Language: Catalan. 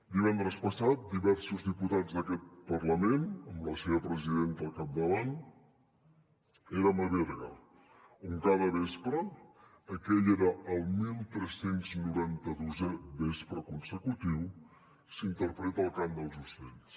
divendres passat diversos diputats d’aquest parlament amb la seva presidenta al capdavant érem a berga on cada vespre aquell era el 1392è vespre consecutiu s’interpreta el cant dels ocells